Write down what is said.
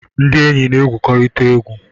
Ndi enyi na-egwukọrịta egwu